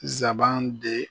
Zaban de